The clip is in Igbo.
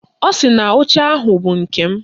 Ọ sị na oche ahụ bụ nke m